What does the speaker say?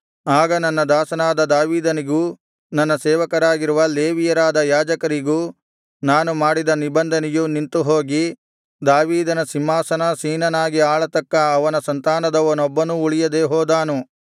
ಆಗ ನನ್ನ ದಾಸನಾದ ದಾವೀದನಿಗೂ ನನ್ನ ಸೇವಕರಾಗಿರುವ ಲೇವಿಯರಾದ ಯಾಜಕರಿಗೂ ನಾನು ಮಾಡಿದ ನಿಬಂಧನೆಯು ನಿಂತು ಹೋಗಿ ದಾವೀದನ ಸಿಂಹಾಸನಾಸೀನನಾಗಿ ಆಳತಕ್ಕ ಅವನ ಸಂತಾನದವನೊಬ್ಬನೂ ಉಳಿಯದೆ ಹೋದಾನು